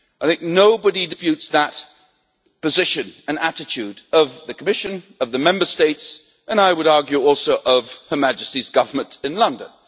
I think nobody disputes that position and attitude of the Commission, of the Member States and, I would argue also, of Her Majesty's government in London.